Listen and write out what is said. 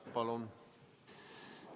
Palun!